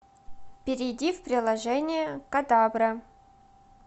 перейди в приложение кодабра